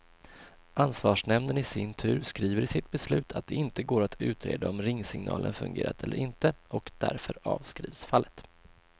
Ansvarsnämnden i sin tur skriver i sitt beslut att det inte går att utreda om ringsignalen fungerat eller inte, och därför avskrivs fallet.